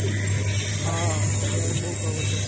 હા જીરાના બઉ ભાવ વધ્યા છે હમણાં